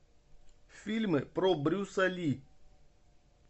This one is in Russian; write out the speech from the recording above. фильмы про брюса ли